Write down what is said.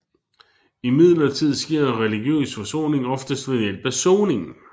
Imidlertid sker religiøs forsoning oftest ved hjælp af soning